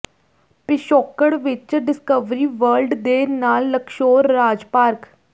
ਪਿਛੋਕੜ ਵਿੱਚ Discovery World ਦੇ ਨਾਲ ਲਕਸ਼ੋਰ ਰਾਜ ਪਾਰਕ